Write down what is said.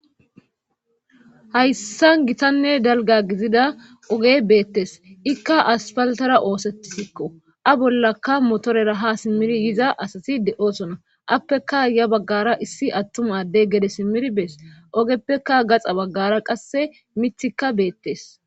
hayssa gitanne dalga gizida oge beettes ikka aspaltara oosetisikko a bollakka motorera ha simmiri yiza asati de'oosona appeka ya baggara issi attum addey gede simmir bees ogeppeka gaxa baggara qasse mithikka beettes